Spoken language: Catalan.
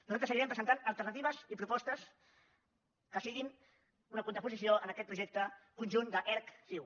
nosaltres seguirem presentant alternatives i propostes que siguin una contraposició a aquest projecte conjunt d’erc ciu